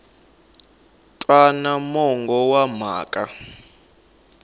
wana mongo wa mhaka a